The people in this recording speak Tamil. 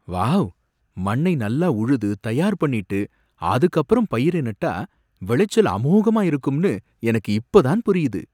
வாவ்! மண்ணை நல்லா உழுது தயார் பண்ணிட்டு அதுக்கு அப்பறம் பயிர நட்டா விளைச்சல் அமோகமா இருக்கும்னு எனக்கு இப்ப தான் புரியுது!